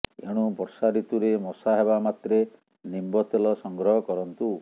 ଏଣୁ ବର୍ଷା ଋତୁରେ ମଶା ହେବା ମାତ୍ରେ ନିମ୍ବ ତେଲ ସଂଗ୍ରହ କରନ୍ତୁ